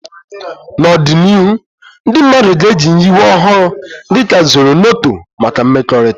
N'ọdịnihu, ndị mmadụ ga-eji nyiwe ọhụrụ dị ka Zornoto maka mmekọrịta.